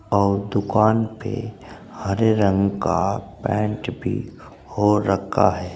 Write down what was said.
और दुकान पे हरे रंग का पेंट भी हो रखा है।